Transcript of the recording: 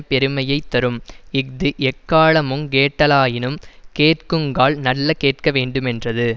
பெருமையை தரும் இஃது எக்காலமுங் கேட்டிலனாயினும் கேட்குங்கால் நல்ல கேட்க வேண்டுமென்றது